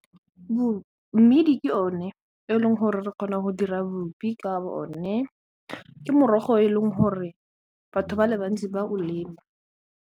Mmidi ke one e leng gore re kgona go dira bupi ka bo o ne, ke morogo e leng gore batho ba le bantsi ba o lema.